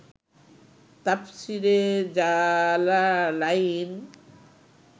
তাফসীরে জালালাইন